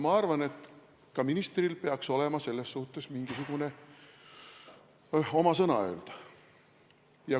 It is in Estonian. Ma arvan, et ka ministril peaks olema õigus selles asjas sõna sekka öelda.